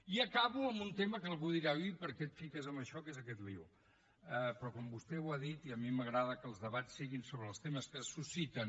i acabo amb un tema que algú dirà ui i per què et fiques amb això què és aquest embolic però com vostè ho ha dit i a mi m’agrada que els debats siguin sobre els temes que es susciten